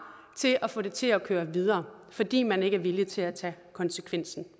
til at få det til at køre videre fordi man ikke er villig til at tage konsekvensen